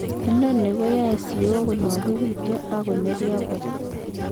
Inoni koyoe siyok konwokitun ak ak kinorio kot.